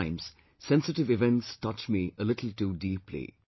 At times, sensitive events touch me a little too deeply